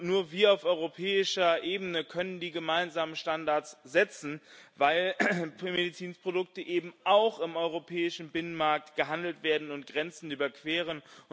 Nur wir auf europäischer Ebene können die gemeinsamen Standards setzen, weil Medizinprodukte eben auch im europäischen Binnenmarkt gehandelt werden und Grenzen überqueren.